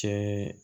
Cɛ